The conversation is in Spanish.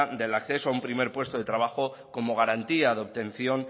del acceso a un primer puesto de trabajo como garantía de obtención